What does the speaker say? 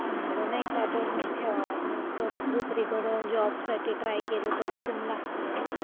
म्हणलं नाही का, बनवून ठेवावा. परत दुसरीकडं जॉबसाठी ट्राय केलं, तर रिझ्यूम लागतोच ना.